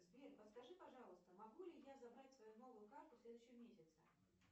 сбер подскажи пожалуйста могу ли я забрать свою новую карту в следующем месяце